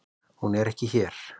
Hún er ekki hér.